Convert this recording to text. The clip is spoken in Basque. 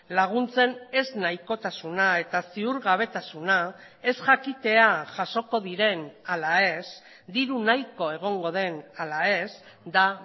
laguntzen ez nahikotasuna eta ziurgabetasuna ez jakitea jasoko diren ala ez diru nahiko egongo den ala ez da